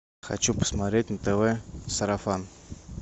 хочу посмотреть на тв сарафан